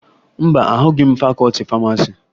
Mba, ahụghị m fakọọti famasi